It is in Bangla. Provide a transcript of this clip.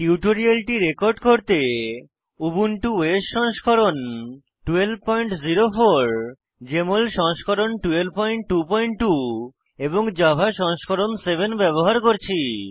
টিউটোরিয়ালটি রেকর্ড করতে উবুন্টু ওএস সংস্করণ 1204 জেএমএল সংস্করণ 1222 এবং জাভা সংস্করণ 7 ব্যবহার করছি